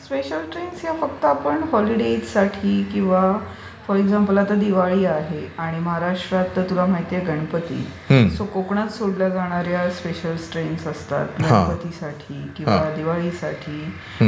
special trains या फक्त आपण होलीडेज साठी किंवा फॉर एक्झांपल आता दिवाळी आहे आणि महाराष्ट्रात तर तुला माहीत आहे गणपती सो कोकणात सोडल्या जाणार् या स्पेशल ट्रेन्स असतात गणपतीसाठीकिंवा दिवाळीसाठी